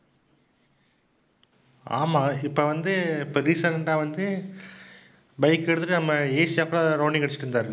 ஆமாம், இப்ப வந்து இப்ப recent ஆ வந்து பைக் எடுத்துக்கிட்டு நம்ம asia full ஆ rounding அடிச்சிட்டு இருந்தாரு.